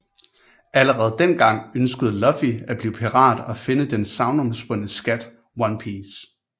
Allerede dengang ønskede Luffy at blive pirat og finde den sagnomspundne skat One Piece